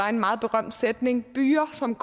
en meget berømt sætning byger som